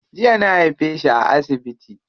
Jiya na haife shi a asibiti.